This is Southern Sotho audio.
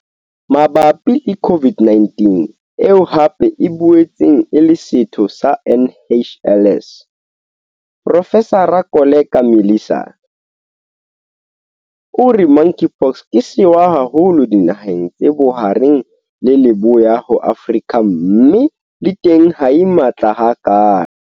Mabapi le COVID-19, eo hape e boetseng e le setho sa NHLS, Profesara Koleka Mlisana, o re Monkeypox ke sewa haholo dinaheng tse Bohareng le Leboya ho Afrika mme le teng ha e matla hakalo.